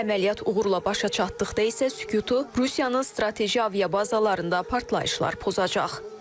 Əməliyyat uğurla başa çatdıqda isə sükutu Rusiyanın strateji aviabazalarında partlayışlar pozacaq.